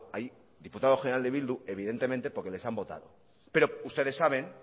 hay diputado general de bildu evidentemente porque les han votado pero ustedes saben